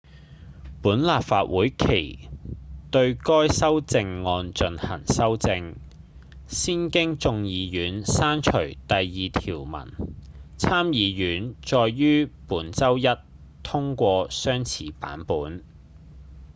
本立法會期對該修正案進行修正先經眾議院刪除第二條文參議院再於本周一通過相似版本